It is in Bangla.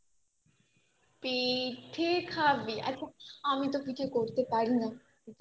পিঠে খাবি এখন আমি তো পিঠে করতে পারি না